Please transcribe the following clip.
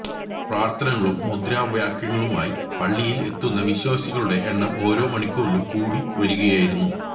പ്രാർത്ഥനകളും മുദദ്രാവാക്യങ്ങളുമായി പള്ളിയിൽ എത്തുന്ന വിശ്വസികളുടെ എണ്ണം ഓരോ മണിക്കൂറിലും കൂടി വരികയായിരുന്നു